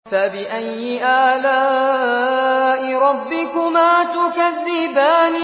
فَبِأَيِّ آلَاءِ رَبِّكُمَا تُكَذِّبَانِ